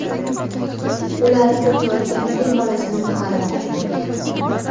Ular cho‘kayotgan fil bolasini qutqarmoqchi bo‘lgan.